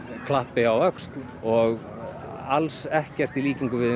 klappi á öxl og alls ekkert í líkingu við